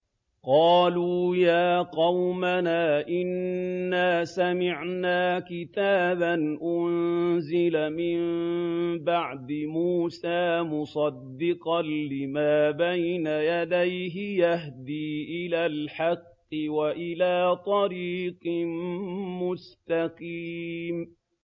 قَالُوا يَا قَوْمَنَا إِنَّا سَمِعْنَا كِتَابًا أُنزِلَ مِن بَعْدِ مُوسَىٰ مُصَدِّقًا لِّمَا بَيْنَ يَدَيْهِ يَهْدِي إِلَى الْحَقِّ وَإِلَىٰ طَرِيقٍ مُّسْتَقِيمٍ